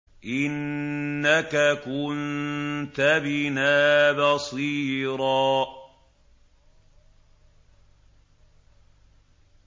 إِنَّكَ كُنتَ بِنَا بَصِيرًا